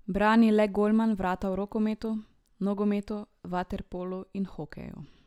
Brani le golman vrata v rokometu, nogometu, vaterpolu in hokeju.